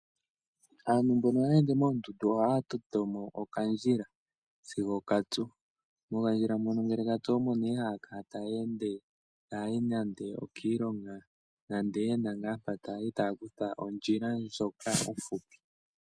Aantu mbono haya ende moondundu ohaya toto mo okandjila sigo katsu. Mokandjila mono ngele katsu omo nee haya kala taya ende, taya yi nande okiilonga nande ye na ngaa mpoka taya yi, taya kutha ondjila ndjoka ofupi.